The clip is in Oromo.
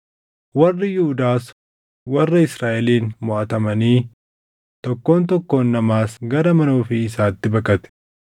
Warri Yihuudaas warra Israaʼeliin moʼatamanii tokkoon tokkoon namaas gara mana ofii isaatti baqate.